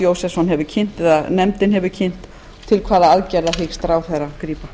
jósefsson hefur kynnt eða nefndin hefur kynnt til hvaða aðgerða hyggst ráðherra grípa